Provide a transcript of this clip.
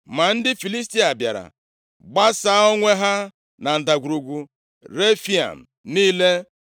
Ma ndị Filistia bịara, gbasaa onwe ha na Ndagwurugwu Refaim niile.